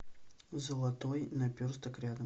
золотой наперсток рядом